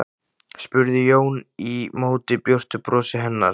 spurði Jón í móti björtu brosi hennar.